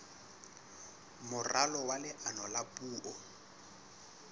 moralo wa leano la puo